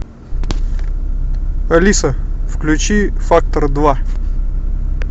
алиса включи фактор два